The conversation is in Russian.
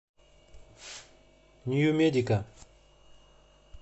нью медика